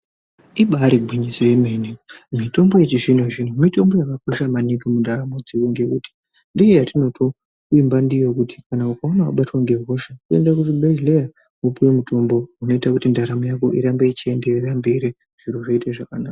Ibari gwinyiso yemene, mitombo yechizvino zvino mitombo yakakosha muntaraunda ngekuti ndiyo yatinotovimba ndiyo kuti ukaona wabatwa ngehosha kuenda kuzvibhedhleya wopiwe mutombo unoita kuti ndaramo yako irambe ichienderera mberi zvoite zvakanaka.